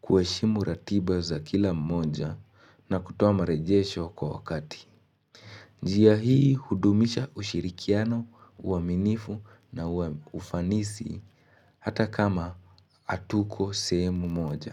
kueshimu ratiba za kila mmoja na kutoa marejesho kwa wakati. Njia hii hudumisha ushirikiano, uaminifu na ufanisi hata kama hatuko sehemu moja.